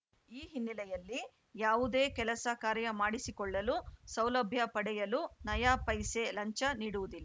ಈ ಹಿನ್ನೆಲೆಯಲ್ಲಿ ಯಾವುದೇ ಕೆಲಸ ಕಾರ್ಯ ಮಾಡಿಸಿಕೊಳ್ಳಲು ಸೌಲಭ್ಯ ಪಡೆಯಲು ನಯಾ ಪೈಸೆ ಲಂಚ ನೀಡುವುದಿಲ್